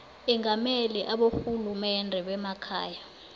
engamele aborhulumende bemakhaya